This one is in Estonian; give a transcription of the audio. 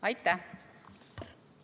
Aitäh!